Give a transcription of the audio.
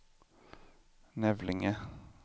Nävlinge